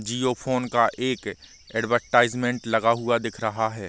जियो phone का एक advertisement लगा हुआ दिख रहा है ।